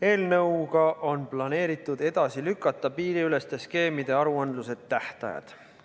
Eelnõuga on planeeritud edasi lükata piiriüleste skeemide aruandluse tähtajad.